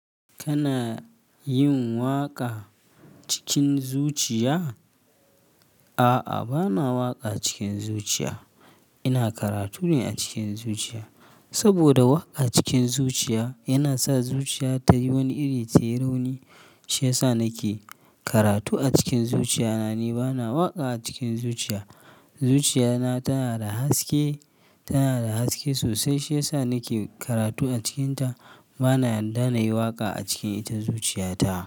Kana yin waƙa cikin zuciya? A'a, bana waƙa cikin zuciya. Ina karatu ne a cikin zuciya. Saboda waƙa cikin zuciya yana sa zuciya ta yi wani iri ta yi rauni. Shiyasa nake karatu a cikin zuciya na ne bana waƙa a cikin zuciya. Zuciya na tana da haske, tana da haske sosai shiyasa nake karatu a cikinta. Bana yarda na yi waƙa a cikin ita zuciya ta.